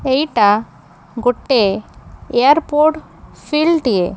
ଏଇଟା ଗୋଟେ airport field ଟିଏ।